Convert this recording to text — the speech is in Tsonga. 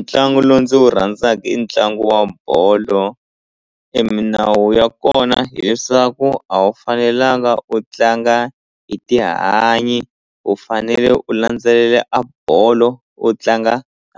Ntlangu lowu ndzi wu rhandzaka i ntlangu wa bolo e minawu ya kona hileswaku a wu fanelanga u tlanga hi tihanyi u fanele u landzelela a bolo u tlanga